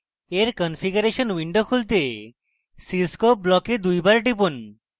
এর configuration window খুলতে cscope block দুইবার টিপুন